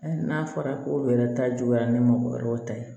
N'a fɔra ko wɛrɛ ta juguyara ni mɔgɔ wɛrɛw ta ye